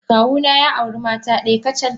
Kawuna ya auri mata daya kacal.